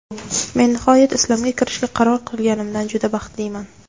Men nihoyat Islomga kirishga qaror qilganimdan juda baxtliman.